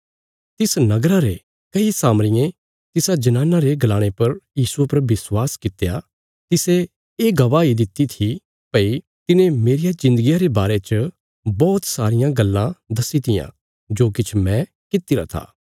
तिस नगरा रे कई सामरियें तिसा जनाना रे गलाणे पर यीशुये पर विश्वास कित्या तिसे ये गवाही दित्ति थी भई तिने मेरिया जिन्दगिया रे बारे च बौहत सारियां गल्लां दस्सी तियां जो किछ मैं कित्तिरा था